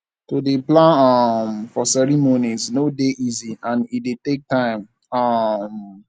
to de plan um for cereomonies no de easy and e de take time um